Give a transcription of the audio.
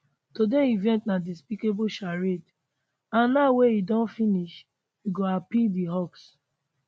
today event na despicable charade and now wey e don finish we go appeal dis hoax